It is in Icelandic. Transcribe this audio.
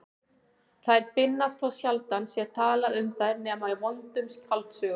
Þær finnast þótt sjaldan sé talað um þær nema í vondum skáldsögum.